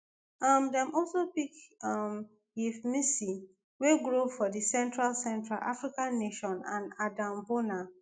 um dem also pick um yves missi wey grow for di central central african nation and adem bona